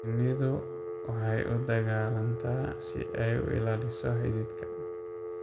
Shinnidu waxay u dagaalantaa si ay u ilaaliso xididka.